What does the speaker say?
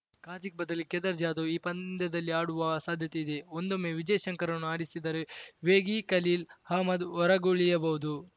ಕಾರ್ತಿಕ್‌ ಬದಲಿಗೆ ಕೇದಾರ್‌ ಜಾಧವ್‌ ಈ ಪಂದ್ಯದಲ್ಲಿ ಆಡುವ ಸಾಧ್ಯತೆ ಇದೆ ಒಂದೊಮ್ಮೆ ವಿಜಯ್‌ ಶಂಕರ್‌ರನ್ನು ಆಡಿಸಿದರೆ ವೇಗಿ ಖಲೀಲ್‌ ಅಹ್ಮದ್‌ ಹೊರಗುಳಿಯಬಹುದು